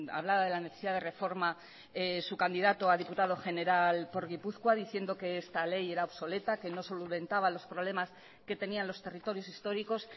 hablaba de la necesidad de reforma su candidato a diputado general por gipuzkoa diciendo que esta ley era obsoleta que no solventaba los problemas que tenían los territorios históricos